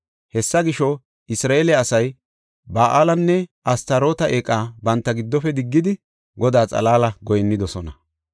Hessa gisho, Isra7eele asay Ba7aalenne Astaroote eeqa banta giddofe diggidi, Godaa xalaala goyinnidosona.